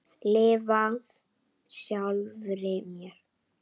Lifað sjálfri mér.